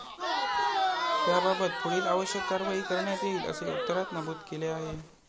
त्याबाबत पुढील आवश्यक कारवाई करण्यात येईल, असे उत्तरात नमूद केले आहे.